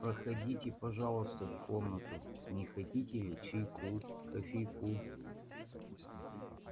проходите пожалуйста в комнату не хотите ли чайку кофейку